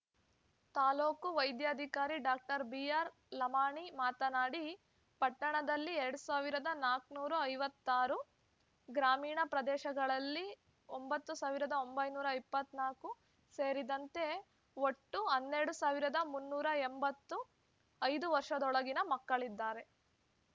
ತಾಲ್ಲೂಕಾ ವೈದ್ಯಾಧಿಕಾರಿ ಡಾಕ್ಟರ್ ಬಿಆರ್ಲಮಾಣಿ ಮಾತನಾಡಿ ಪಟ್ಟಣದಲ್ಲಿ ಎರಡ್ ಸಾವಿರದ ನಾಲ್ಕುನೂರ ಐವತ್ತ್ ಆರು ಗ್ರಾಮೀಣ ಪ್ರದೇಶಗಳಲ್ಲಿ ಒಂಬತ್ತ್ ಸಾವಿರದ ಒಂಬೈನೂರ ಇಪ್ಪತ್ತ್ ನಾಲ್ಕು ಸೇರಿದಂತೆ ಒಟ್ಟು ಹನ್ನೆರಡ್ ಸಾವಿರದ ಮುನ್ನೂರ ಎಂಬತ್ತು ಐದು ವರ್ಷದೊಳಗಿನ ಮಕ್ಕಳಿದ್ದಾರೆ